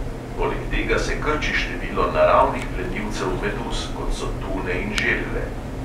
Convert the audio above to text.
Poleg tega se krči število naravnih plenilcev meduz, kot so tune in želve.